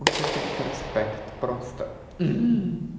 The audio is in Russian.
вот это вот проспект просто